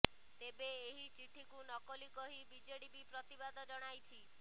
ତେବେ ଏହି ଚିଠିକୁ ନକଲି କହି ବିଜେଡି ବି ପ୍ରତିବାଦ ଜଣାଇଛି